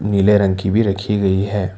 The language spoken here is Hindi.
नीले रंग की भी रखी गई है।